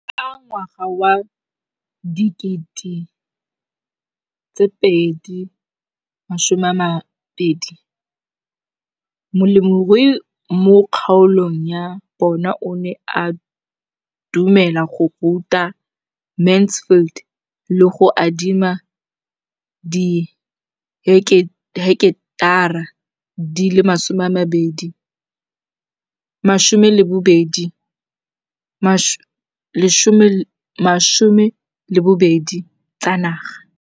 Ka ngwaga wa 2013, molemirui mo kgaolong ya bona o ne a dumela go ruta Mansfield le go mo adima di heketara di le 12 tsa naga.